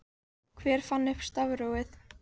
hver fann upp stafrófið